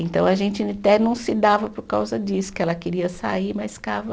Então, a gente até não se dava por causa disso, que ela queria sair, mas ficava.